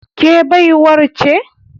Ke baiwar ce?